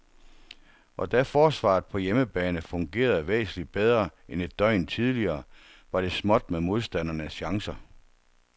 Og da forsvaret på hjemmebane fungerede væsentligt bedre end et døgn tidligere, var det småt med modstandernes chancer.